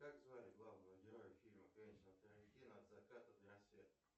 как звали главного героя фильма квентина тарантино от заката до рассвета